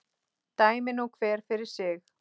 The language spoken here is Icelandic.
Dæmi nú hver fyrir sig.